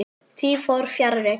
Því fór fjarri.